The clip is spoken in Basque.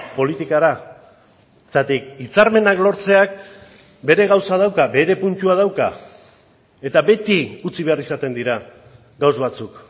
politikara zergatik hitzarmenak lortzeak bere gauza dauka bere puntua dauka eta beti utzi behar izaten dira gauza batzuk